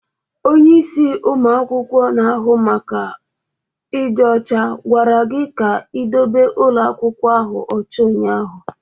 Onye isi ụmụ akwụkwọ na-ahụ maka ịdị ọcha gwara gị ka ị dobe ụlọ akwụkwọ ahụ ọcha ụnyaahụ!